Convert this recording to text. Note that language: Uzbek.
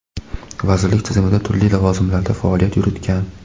vazirlik tizimida turli lavozimlarda faoliyat yuritgan.